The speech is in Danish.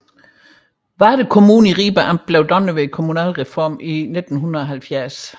Varde Kommune i Ribe Amt blev dannet ved kommunalreformen i 1970